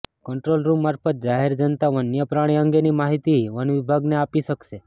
control room મારફત જાહેર જનતા વન્યપ્રાણી અંગેની માહિતી વન વિભાગને આપી શકશે